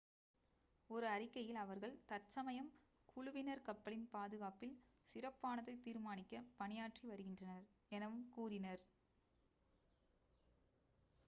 "ஒரு அறிக்கையில் அவர்கள் "தற்சமயம் குழுவினர் கப்பலின் பாதுகாப்பில் சிறப்பானதை தீர்மானிக்க பணியாற்றி வருகின்றனர்" எனவும் கூறினர்.